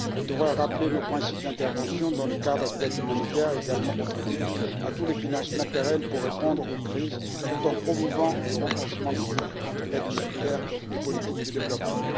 Elle devra rappeler nos principes d'intervention dans le cadre de l'aide humanitaire et également contribuer à tous les financements pérennes pour répondre aux crises tout en promouvant le renforcement des liens entre aide humanitaire et politique de développement.